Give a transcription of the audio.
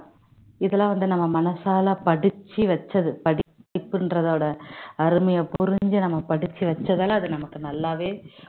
இதுலாம் வந்து நம்ம மனசால படிச்சி வச்சது படிப்புங்கறதோட அருமைய புரிஞ்சு நம்ம படிச்சு வச்சதால அது நமக்கு நல்லாவே